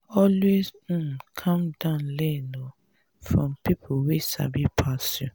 always um calm down learn um from pipo wey sabi pass you.